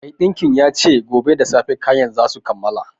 Maiɗinkin ya ce gobe da safe kayana za su kammala